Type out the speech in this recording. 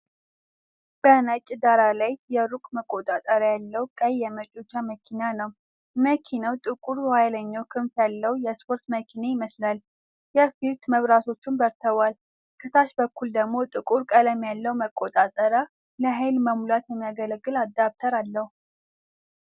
በነጭ ዳራ ላይ የሩቅ መቆጣጠሪያ ያለው ቀይ የመጫወቻ መኪና ነው። መኪናው ጥቁር የኋለኛ ክንፍ ያለው የስፖርት መኪና ይመስላል፤ የፊት መብራቶቹም በርተዋል። ከታች በኩል ደግሞ ጥቁር ቀለም ያለው መቆጣጠሪያ፣ ለኃይል መሙላት የሚያገለግል አዳፕተር አለው።